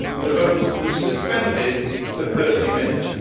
The vote was suspended for 30 minutes.